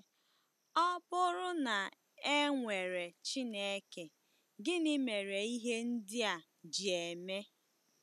Ọ bụrụ na e nwere Chineke, gịnị mere ihe ndị a ji eme?